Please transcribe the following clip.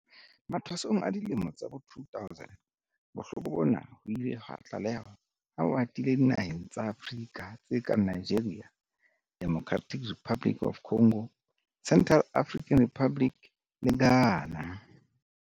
Mathwasong a dilemo tsa bo 2000, bohloko bona ho ile ha tlalehwa ha bo atile dinaheng tsa Afrika tse kang Nigeria, Democratic Republic of the Congo, Central African Republic le Ghana.